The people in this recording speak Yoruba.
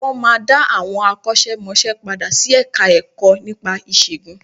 Wọ́n máa dá àwọn akọ́ṣẹ́ mọṣẹ́ padà sí Ẹ̀ka-ẹ̀kọ́ nípa ìṣègùn